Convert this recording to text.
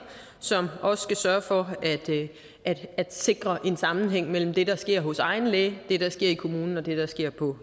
som også skal sørge for at sikre en sammenhæng mellem det der sker hos egen læge det der sker i kommunen og det der sker på